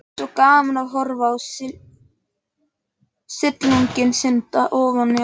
Mér fannst svo gaman að horfa á silunginn synda ofan í ánni.